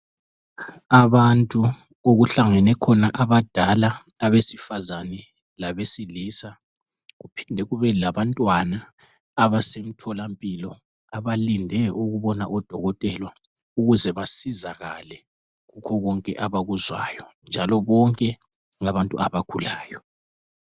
Abantu okuhlangene khona abadala abesifazane labesilisa kuphinde kube labantwana abasemtholampilo abalinde ukubona udokotela ukuze basizakale kukho konke abakuzwayo njalo bonke ngabantu abagulayo.